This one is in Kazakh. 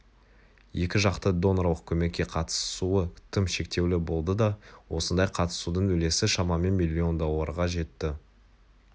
екі жақты донорлық көмекке қатысуы тым шектеулі болды да осындай қатысудың үлесі шамамен миллион долларға жетті